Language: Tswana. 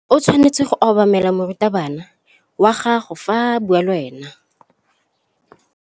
O tshwanetse go obamela morutabana wa gago fa a bua le wena.